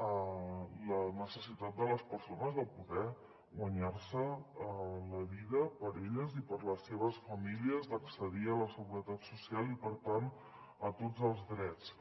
la necessitat de les persones de poder guanyar se la vida per a elles i per a les seves famílies d’accedir a la seguretat social i per tant a tots els drets